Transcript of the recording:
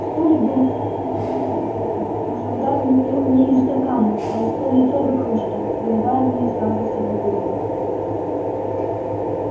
столик был уставлен пивными бутылками но жандарм пил не из стакана а из пол литровой кружки выливая в нее сразу всю бутылку